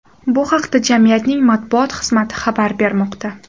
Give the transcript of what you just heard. Bu haqda jamiyatning matbuot xizmati xabar bermoqda .